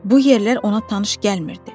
Bu yerlər ona tanış gəlmirdi.